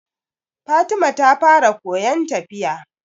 Fatima ta fara koyan tafiya